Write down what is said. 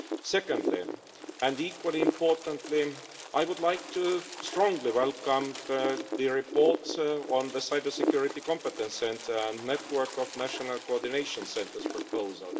Secondly, and equally importantly, I would like to strongly welcome the report on the cybersecurity competence centre and network of national coordination centres proposal.